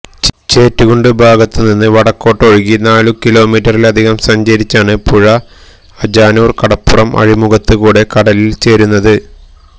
ചേറ്റുകുണ്ട് ഭാഗത്തുനിന്ന് വടക്കോട്ടൊഴുകി നാലു കിലോമീറ്ററിലധികം സഞ്ചരിച്ചാണ് പുഴ അജാനൂർ കടപ്പുറം അഴിമുഖത്ത് കൂടെ കടലിൽ ചേരുന്നത്